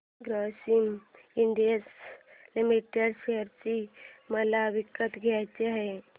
Grasim industries limited share मला विकत घ्यायचे आहेत